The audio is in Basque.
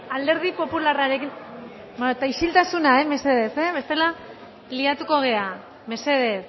alderdi popularrarekin bueno ezta isiltasuna mesedez mesedez bestela liatuko gara mesedez